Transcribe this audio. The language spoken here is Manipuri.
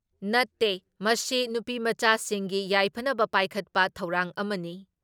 ꯅꯠꯇꯦ, ꯃꯁꯤ ꯅꯨꯄꯤꯃꯆꯥꯁꯤꯡꯒꯤ ꯌꯥꯏꯐꯅꯕ ꯄꯥꯏꯈꯠꯄ ꯊꯧꯔꯥꯡ ꯑꯃꯅꯤ ꯫